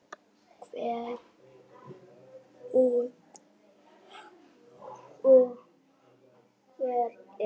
Hver út og hver inn?